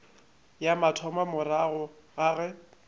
ya mathomo morago ga ge